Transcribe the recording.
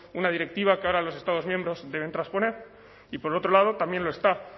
una directiva que ahora a los estados miembros deben transponer y por otro lado también lo está